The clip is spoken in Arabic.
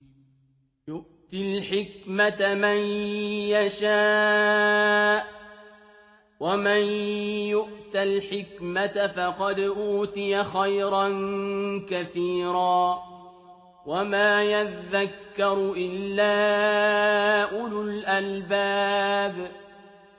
يُؤْتِي الْحِكْمَةَ مَن يَشَاءُ ۚ وَمَن يُؤْتَ الْحِكْمَةَ فَقَدْ أُوتِيَ خَيْرًا كَثِيرًا ۗ وَمَا يَذَّكَّرُ إِلَّا أُولُو الْأَلْبَابِ